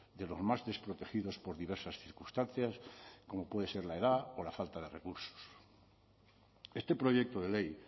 de los más desprotegidos por diversas circunstancias como pueden ser la edad o la falta de recursos este proyecto de ley